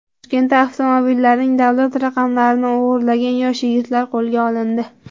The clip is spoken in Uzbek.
Toshkentda avtomobillarning davlat raqamlarini o‘g‘irlagan yosh yigitlar qo‘lga olindi.